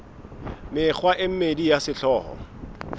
mekgwa e mmedi ya sehlooho